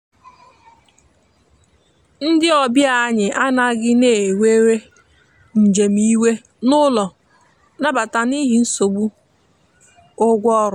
ndi ọbịa anyi anaghi na enwere njem iwe n'ụlọ nabata n'ihi nsogbụ ụgwọ ọrụ